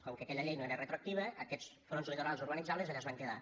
com que aquella llei no era retroactiva aquests fronts litorals urbanitzables allà es van quedar